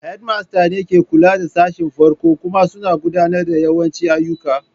Head Master ne ke kula da sashin farko kuma suna gudanar da yawancin ayyuka.